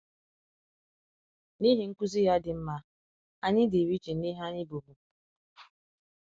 N’ihi nkuzi ya dị mma, anyị dịrị iche na ihe anyị bụbu.